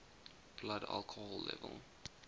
blood alcohol level